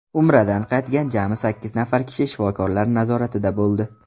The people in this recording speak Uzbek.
Umradan qaytgan jami sakkiz nafar kishi shifokorlar nazoratida bo‘ldi.